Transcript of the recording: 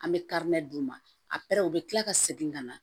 An bɛ d' u ma a u bɛ tila ka segin ka na